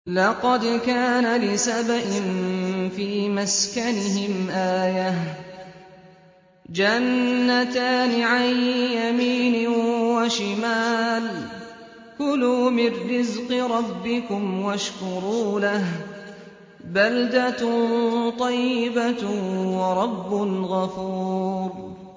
لَقَدْ كَانَ لِسَبَإٍ فِي مَسْكَنِهِمْ آيَةٌ ۖ جَنَّتَانِ عَن يَمِينٍ وَشِمَالٍ ۖ كُلُوا مِن رِّزْقِ رَبِّكُمْ وَاشْكُرُوا لَهُ ۚ بَلْدَةٌ طَيِّبَةٌ وَرَبٌّ غَفُورٌ